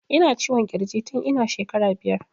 Ina ciwon kirji tun ina shekara biyar